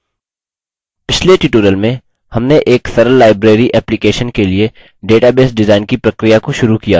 पिछले tutorial में हमने एक सरल library application के लिए database डिजाइन की प्रक्रिया को शुरू किया था